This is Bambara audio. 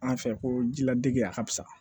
An fɛ ko ji ladege a ka fisa